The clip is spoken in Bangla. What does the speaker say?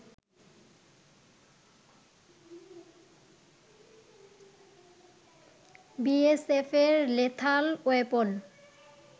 বিএসএফের লেথাল ওয়েপন